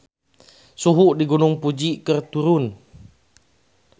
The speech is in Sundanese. Suhu di Gunung Fuji keur turun